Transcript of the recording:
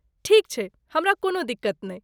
ठीक छै! हमरा कोनो दिक्कत नहि।